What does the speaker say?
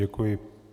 Děkuji.